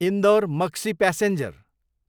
Indore, Maksi passenger